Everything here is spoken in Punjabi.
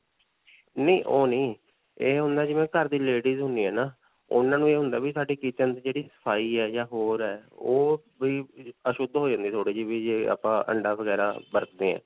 ਨਹੀਂ ਓਹ ਨਹੀਂ. ਇਹ ਹੁੰਦਾ ਜਿਵੇਂ ਘਰ ਦੀ ladies ਹੁੰਦੀਆਂ ਹੈ ਨਾ, ਉਨ੍ਹਾਂ ਨੂੰ ਇਹ ਹੁੰਦਾ ਵੀ ਸਾਡੀ kitchen ਦੀ ਜਿਹੜੀ ਸਫਾਈ ਹੈ ਜਾਂ ਹੋਰ ਹੈ. ਓਹ ਬਾਈ ਅਸ਼ੁਧ ਹੋ ਜਾਂਦੀ ਵੀ ਥੋੜੀ ਜਿਹੀ ਅਅ ਅੰਡਾ ਵਗੈਰਾ ਵਰਤਦੇ ਹਾਂ.